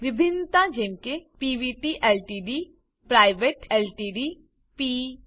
ભિન્નતા જેમ કે પીવીટી એલટીડી પ્રાઇવેટ એલટીડી પ પ